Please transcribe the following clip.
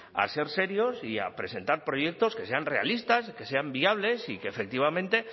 a ser serios y a presentar proyectos que sean realistas que sean viables y que efectivamente